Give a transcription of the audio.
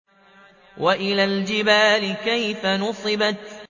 وَإِلَى الْجِبَالِ كَيْفَ نُصِبَتْ